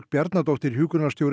Bjarnadóttir